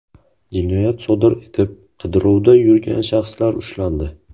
Jinoyat sodir etib qidiruvda yurgan shaxslar ushlandi.